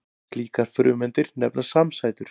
Slíkar frumeindir nefnast samsætur.